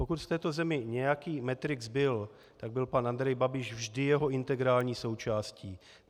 Pokud v této zemi nějaký Matrix byl, tak byl pan Andrej Babiš vždy jeho integrální součástí.